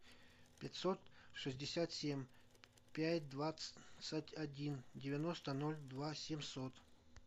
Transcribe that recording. пятьсот шестьдесят семь пять двадцать один девяносто ноль два семьсот